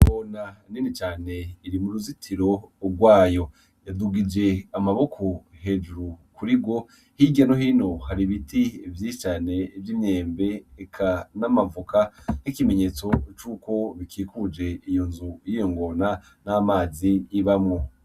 Ingona nini cane iri mu ruzitiro rwayo, yadugije amaboko hejuru kuri rwo, hirya no hino hari ibiti vyinshi cane vy'imyembe, eka n'amavoka nkikimenyetso cuko bikikuje iyo nzu y'iyo ngona n'amazi ibamwo.